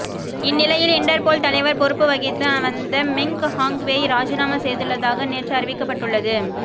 இந்நிலையில் இண்டர்போல் தலைவர் பொறுப்புவகித்து வந்த மெங் ஹாங்வெய் ராஜினாமா செய்துள்ளதாக நேற்று அறிவிக்கப்பட்டுள்ளது